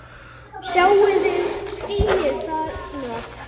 Sjáiði skýið þarna?